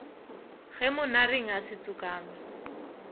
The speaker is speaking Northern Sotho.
ge monareng a se tsokame